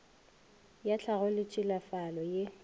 ya tlhago le tšhilafalo ye